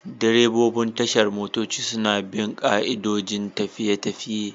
Direbobin tashar motoci suna bin ka'idojin tafiya-tafiye.